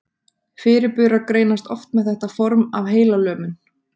Fyrirburar greinast oft með þetta form af heilalömun.